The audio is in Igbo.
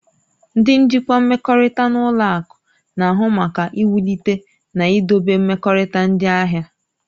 Ndị njikwa mmekọrịta na ụlọ akụ na-ahụ maka iwulite na idobe mmekọrịta ndị ahịa.